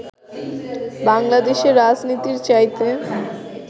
বাংলাদেশের রাজনীতির চাইতে